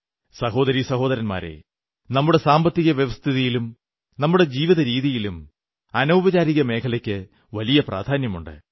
സഹോദരീസഹോദരന്മാരേ നമ്മുടെ സാമ്പത്തികവ്യവസ്ഥിതിയിലും നമ്മുടെ ജീവിതരീതിയിലും അനൌപചാരിക മേഖലയ്ക്കു വലിയ പ്രാധാന്യമുണ്ട്